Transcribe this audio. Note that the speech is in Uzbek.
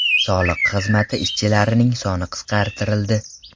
Soliq xizmati ishchilarining soni qisqartirildi.